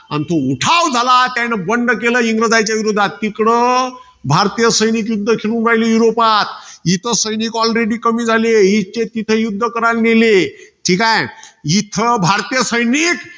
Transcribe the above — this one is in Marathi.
अन तो उठाव झाला, त्याने बंड केलं इंग्रजांचे विरोधात. तिकडं भारतीय सैनिक युध्द खिळून राहिली युरोपात. इथं सैनिक alrady कमी झाले. हीतचे तिथे युध्द कराला नेले. ठीकाय? इथं भारतीय सैनिक.